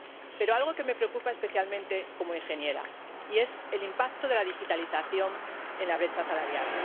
Pero algo que me preocupa especialmente como ingeniera es el impacto de la digitalización en la brecha salarial.